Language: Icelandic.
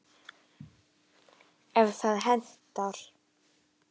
ef það hentar!